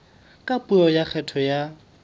ka puo ya kgetho ya